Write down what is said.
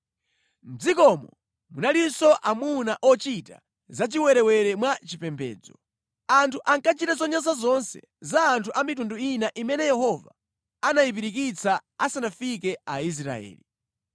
Mʼdzikomo munalinso amuna ochita zachiwerewere mwa chipembedzo. Anthu ankachita zonyansa zonse za anthu a mitundu ina imene Yehova anayipirikitsa asanafike Aisraeli.